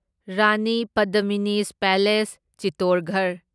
Rani Padmini's palace Chittorgarh